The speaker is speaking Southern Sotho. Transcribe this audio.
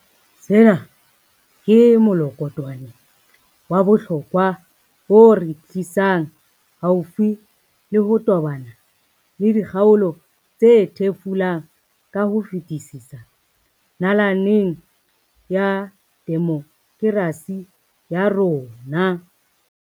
Sena ke mokolokotwane wa bohlokwa o re tli sang haufi le ho tobana le dikgaolo tse thefulang ka ho fetisisa nalaneng ya demokerasi ya rona.